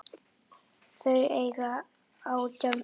Þau eiga átján börn.